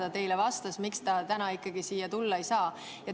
Mida ta teile vastas, miks ta täna siia tulla ei saa?